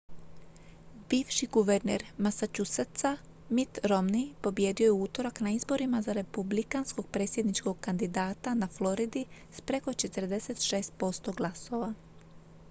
bivši guverner massachusettsa mitt romney pobijedio je u utorak na izborima za republikanskog predsjedničkog kandidata na floridi s preko 46 posto glasova